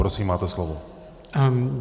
Prosím, máte slovo.